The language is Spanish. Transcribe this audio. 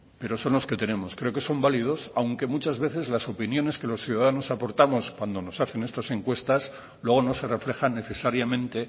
pero son los que tenemos creo que son válidos aunque muchas veces las opiniones que los ciudadanos aportamos cuando nos hacen estas encuestas luego no se reflejan necesariamente